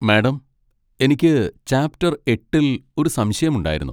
Madam, എനിക്ക് chapter എട്ടിൽ ഒരു സംശയം ഉണ്ടായിരുന്നു.